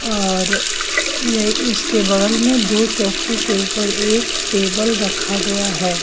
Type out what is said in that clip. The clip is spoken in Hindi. और इसके बगल में दो चौकी के ऊपर एक टेबल रखा गया है।